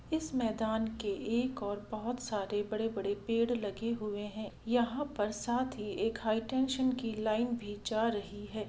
इस मैदान के एक और बहुत सारे बड़े-बड़े पेड़ लगे हुए हैं यहां पर साथ ही एक हाईटेंशन की लाइन भी जा रही है।